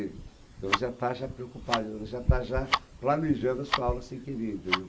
dizer. Então, você já está já preocupado, você já está já planejando a sua aula sem querer, entendeu?